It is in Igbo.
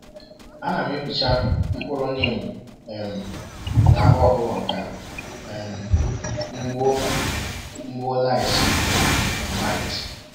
Ana m epicha mkpụrọ neem um n’ahụ ọkụkọ ka um m gbuo m gbuo lice um na mites